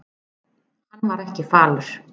Hann var ekki falur.